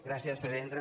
gràcies presidenta